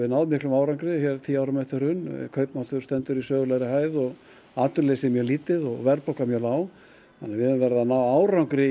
náð miklum árangri tíu árum eftir hrun kaupmáttur stendur í sögulegri hæð atvinnuleysi er mjög lítið og verðbólga er mjög lág þannig við höfum verið að ná árangri